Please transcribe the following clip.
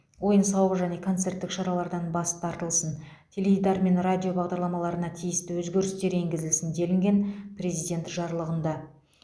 ойын сауық және концерттік шаралардан бас тартылсын теледидар мен радио бағдарламаларына тиісті өзгерістер енгізілсін делінген президент жарлығында